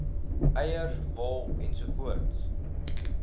eiers wol ens